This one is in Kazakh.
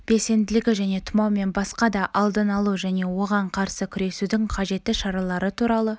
белсенділігі және тұмау мен басқа да алдын алу және оған қарсы күресудің қажетті шаралары туралы